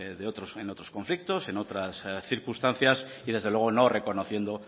en otros conflictos en otras circunstancias y desde luego no reconociendo